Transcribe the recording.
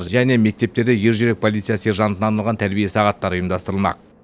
және мектептерде ержүрек полиция сержантына арналған тәрбие сағаттары ұйымдастырылмақ